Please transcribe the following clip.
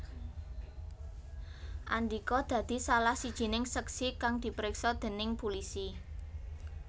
Andika dadi salah sijining seksi kang dipriksa déning pulisi